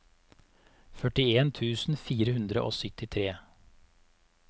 førtien tusen fire hundre og syttitre